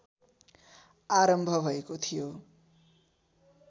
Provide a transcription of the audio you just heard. आरम्भ भएको थियो